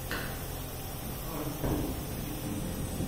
хард боди на ютьюбе